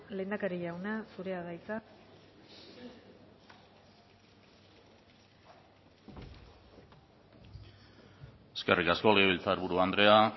lehendakari jauna zurea da hitza eskerrik asko legebiltzarburu andrea